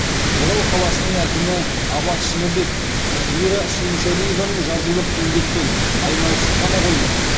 орал қаласының әкімі абат шыныбеков мира шүйіншәлиеваның жазулық еңбекпен айналысып қана қоймай